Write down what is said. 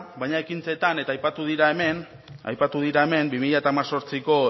baina ekintzetan eta aipatu dira hemen aipatu dira hemen bi mila hemezortziko